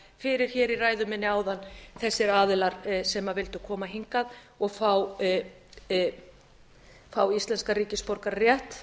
fyrir hér í ræðu minni áðan þessir aðilar sem vildu koma hingað og fá íslenskan ríkisborgararétt